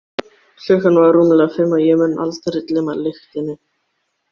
Klukkan var rúmlega fimm og ég mun aldrei gleyma lyktinni.